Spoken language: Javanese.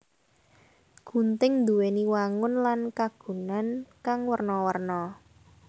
Gunting nduwèni wangun lan kagunan kang werna werna